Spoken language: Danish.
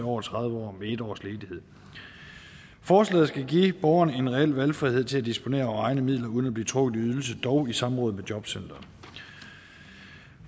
over tredive år med en års ledighed forslaget skal give borgerne en reel valgfrihed til at disponere over egne midler uden at blive trukket i ydelse dog i samråd med jobcenteret